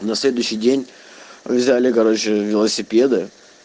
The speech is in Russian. на следующий день взяли короче велосипеды